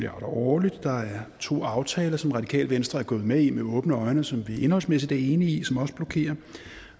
årligt der er to aftaler som det radikale venstre er gået med i med åbne øjne og som vi indholdsmæssigt er enige i som også blokerer